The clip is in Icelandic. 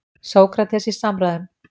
Sókrates í samræðum.